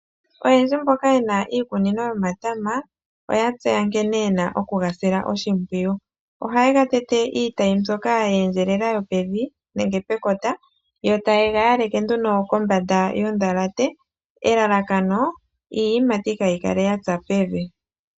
Oyendji mboka yena iikunino yomatama, oya tseya nkene yena oku ga sila oshimpwiyu. Ohaye ga tete iitayi mbyoka ya endjelela yopevi nenge pekota yo taye ga yaleke nduno kombanda yo ndhalate. Elalakano, iiyimati kayi kale yatsa pevi.